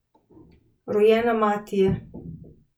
Rojena mati je.